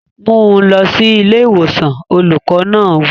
Mú un lọ sí ilé ìwòsàn! Olùkọ́ náà wí.